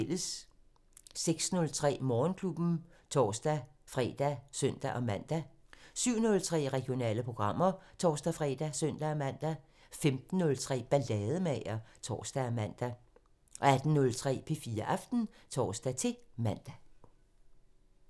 06:03: Morgenklubben (tor-fre og søn-man) 07:03: Regionale programmer (tor-fre og søn-man) 15:03: Ballademager (tor og man) 18:03: P4 Aften (tor-man)